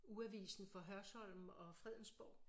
Ugeavisen for Hørsholm og Fredensborg